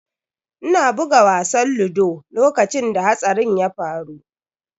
Ina buga wasan ludo lokacin da hatsarin ya faru.